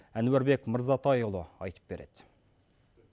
әнуарбек мырзатайұлы айтып береді